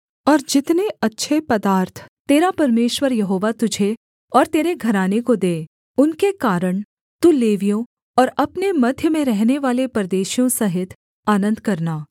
और जितने अच्छे पदार्थ तेरा परमेश्वर यहोवा तुझे और तेरे घराने को दे उनके कारण तू लेवियों और अपने मध्य में रहनेवाले परदेशियों सहित आनन्द करना